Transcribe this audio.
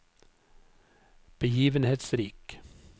begivenhetsrik